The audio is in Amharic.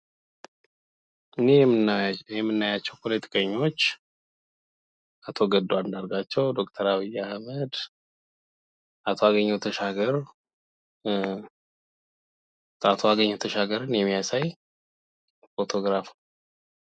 እንህ የምናያቸው ፖለቲከኞች አቶ ገዱ አንዳርጋቸው፣ ዶክተር አብይ አህመድ፣ አቶ አገኘሁ ተሻገር የሚያሳይ ፎቶግራፍ ነው።